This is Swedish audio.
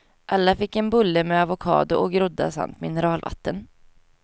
Alla fick en bulle med avocado och groddar samt mineralvatten.